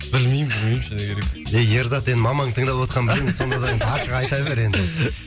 білмеймін білмеймін шыны керек ей ерзат енді мамаңның тыңдап отқанын білеміз сонда да енді ашық айта бер енді